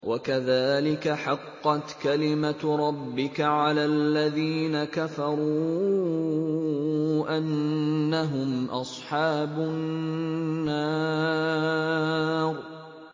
وَكَذَٰلِكَ حَقَّتْ كَلِمَتُ رَبِّكَ عَلَى الَّذِينَ كَفَرُوا أَنَّهُمْ أَصْحَابُ النَّارِ